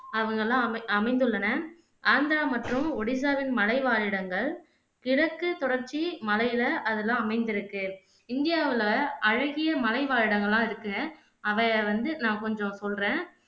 அவங்கள்லாம் அமை அமைந்துள்ளன ஆந்திரா மற்றும் ஒடிசாவின் மலைவாழிடங்கள் கிழக்கு தொடர்ச்சி மலைல அதுதான் அமைந்திருக்கு இந்தியாவுல அழகிய மலைவாழிடங்கள்லாம் இருக்கு அத வந்து நான் கொஞ்சம் சொல்லுறேன்